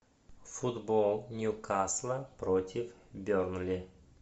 футбол ньюкасла против бернли